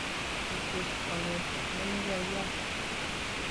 kikwer kwong'et menejayat